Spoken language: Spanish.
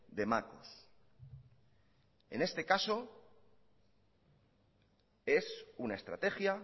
de macos en este caso es una estrategia